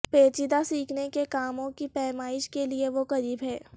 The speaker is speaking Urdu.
پیچیدہ سیکھنے کے کاموں کی پیمائش کے لئے وہ غریب ہیں